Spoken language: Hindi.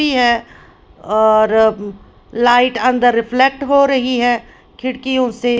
है और लाइट अंदर रिफ्लेक्ट हो रही है खिड़कियों से।